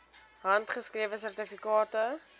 handgeskrewe sertifikate